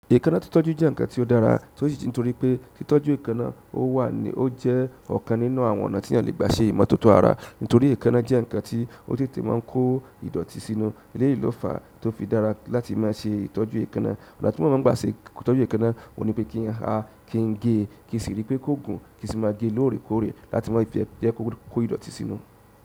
Èékánná ti tọ́jú jẹ́ ǹkan tí ó dára, tó ṣì ji nítorí pé í tọ́jú èékánná ó wà ni ó jẹ́ ọ̀kan nínú àwọn ọ̀nà tí a lè gbà ṣe ìmọ̀tótó ara. Nítorí èékánná jẹ́ ǹkan tí ó tètè máa ń kó ìdọ̀tí sínú. Eléyìí ló fàá tó fi dára láti máa ṣe ìtọ́jú èékánná. Ìgbà tí mo máa ń gbà ṣe ìtọ́jú èékánná, òun ni pé kí a kí ń gé, kí sì rí pé kó gùn kí sì máa ge lóòrèkóòrè láti máa jẹ jẹ́ kó ko ìdọ̀tí sínú.